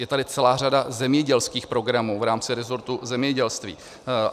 Je tady celá řada zemědělských programů v rámci rezortu zemědělství.